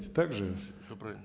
так же все правильно